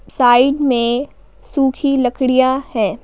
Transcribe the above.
Side में सूखी लकड़ियां हैं।